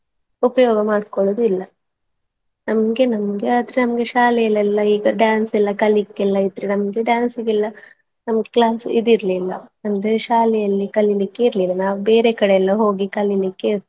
ಉಪಯೋಗ ಮಾಡ್ಕೊಳ್ಳುವುದಿಲ್ಲ ನಮ್ಗೆ ನಮ್ಗೆ ಆದ್ರೆ ನಮ್ಗೆ ಶಾಲೆಯಲ್ಲೆಲ್ಲಾ ಈಗ dance ಎಲ್ಲಾ ಕಲೀಲಿಕ್ಕೆಲ್ಲಾ ಇದ್ರೆ ನಮ್ಗೆ dance ಗೆಲ್ಲಾ ನಮ್ಗೆ class ಇದಿರ್ಲಿಲ್ಲಾ ಅಂದ್ರೆ ಶಾಲೆಯಲ್ಲಿ ಕಲೀಲಿಕ್ಕೆ ಇರ್ಲಿಲ್ಲಾ ನಾವು ಬೇರೆಕಡೆ ಎಲ್ಲಾ ಹೋಗಿ ಕಲೀಲಿಕ್ಕೆ.